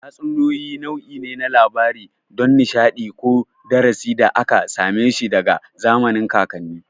Tatsuniyoyi nau'i ne na labarai don nishadi ko darasi da aka same shi daga zamanin kakanni